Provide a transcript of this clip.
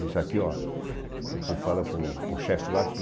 Isso aqui ó, você fala para o para o chefe lá que...